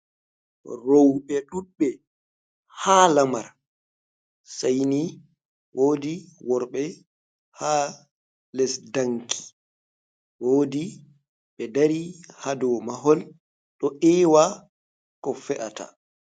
Rowɓe ɗuɗɓe ha lamar. Saini woɗi worɓe ha lesɗanki. Woɗi ɓe ɗari ha ɗow mahol ɗo ewa ko fe'ata.